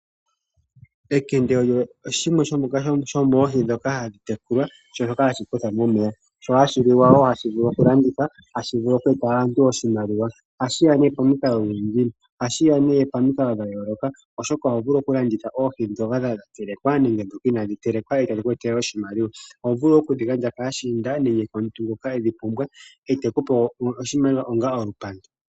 Ekende lyo shimwe shomoohi ndhoka hadhi tekulwa shoka hashi kuthwa momeya sho ohashi liwa woo .ohashi vulu okulandithwa ,hashi vulu oku etela aantu oshimaliwa ohashiya nee pomikalo dhayooloka oshoka ohovulu okulanditha oohi ndhoka dha telekwa nenge ndhoka inadhi telekwa dhiku etele oshimaluwa .Ohovulu woo okudhi gandja kaashiinda nenge komuntu ngoka edhipumbwa etekupe oshimaliwa onga olupandu.